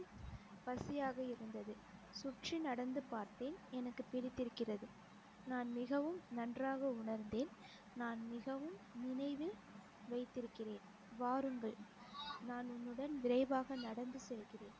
பசியாக இருந்தது சுற்றி நடந்து பார்த்தேன் எனக்கு பிடித்திருக்கிறது நான் மிகவும் நன்றாக உணர்ந்தேன் நான் மிகவும் நினைவில் வைத்திருக்கிறேன் வாருங்கள் நான் உன்னுடன் விரைவாக நடந்து செல்கிறேன்